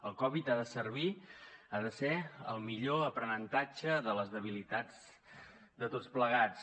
el covid ha de servir ha de ser el millor aprenentatge de les debilitats de tots plegats